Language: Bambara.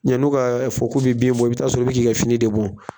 Yan n'u k'a fɔ k'u bɛ bin bɔ, i bɛ t'a sɔrɔ i bɛ ka fini de bɔ.